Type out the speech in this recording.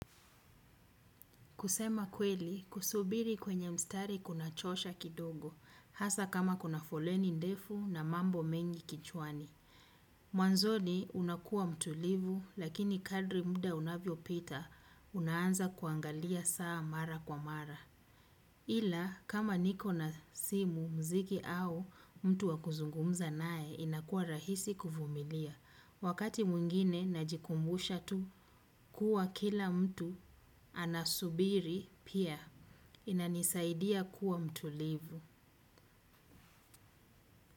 Kusema kweli, kusubiri kwenye mstari kunachosha kidogo, hasa kama kuna foleni ndefu na mambo mengi kichwani. Mwanzoni unakuwa mtulivu, lakini kadri muda unavyo pita, unaanza kuangaliya saa mara kwa mara. Ila, kama niko na simu muziki au, mtu wakuzungumza naye inakuwa rahisi kuvumilia. Wakati mwingine najikumbusha tu kuwa kila mtu anasubiri pia inanisaidia kuwa mtulivu.